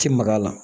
Ti maga la